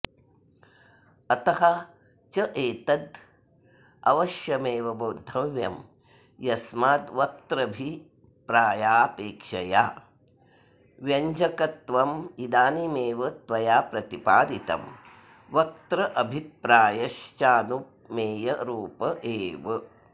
अतश्चैतदवश्यमेव बोद्धव्यं यस्माद्वक्त्रभिप्रायापेक्षया व्यञ्जकत्वमिदानीमेव त्वया प्रतिपादितं वक्त्रभिप्रायश्चानुमेयरूप एव